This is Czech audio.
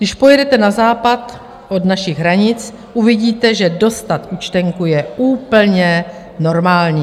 Když pojedete na západ od našich hranic, uvidíte, že dostat účtenku je úplně normální.